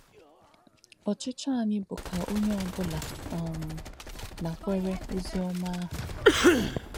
Ọ̀chìchọ̀ ànyì bù kà onyè ọ̀ bụlà um nàkwére ozì ómà àhù.